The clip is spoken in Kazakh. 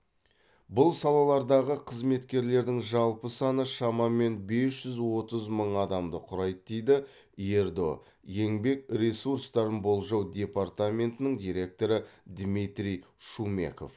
бұл салалардағы қызметкерлердің жалпы саны шамамен бес жүз отыз мың адамды құрайды дейді ердо еңбек ресурстарын болжау департаментінің директоры дмитрий шумеков